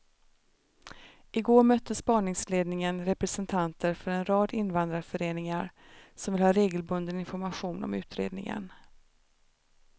I går mötte spaningsledningen representanter för en rad invandrarföreningar som vill ha regelbunden information om utredningen.